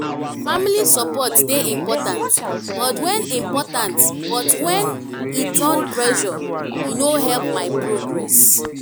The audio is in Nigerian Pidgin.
family support dey important but when important but when e turn pressure e no help my progress.